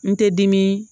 N tɛ dimi